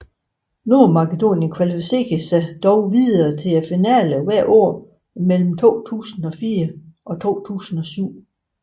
Nordmakedonien kvalificerede sig dog videre til finalen hvert år mellem 2004 og 2007